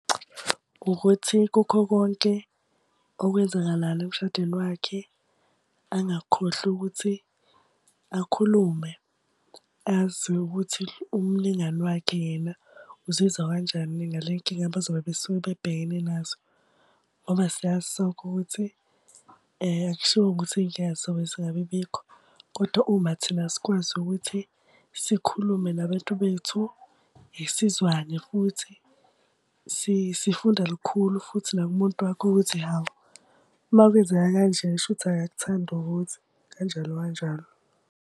Ukuthi kukho konke okwenzakalayo emshadweni wakhe angakukhohlwa ukuthi akhulume, azi ukuthi umlingani wakhe yena uzizwa kanjani ngale nkinga abazobe besuke bebhekene nazo. Ngoba siyazi sonke ukuthi akushiwongo ukuthi iy'nkinga zobe zingabi bikho. Kodwa uma thina sikwazi ukuthi sikhulume nabantu bethu, sizwane futhi, sifunda lukhulu futhi nakumuntu wakho ukuthi hhawu, uma kwenzeka kanje shuthi akakuthandi ukuthi, kanjalo kanjalo.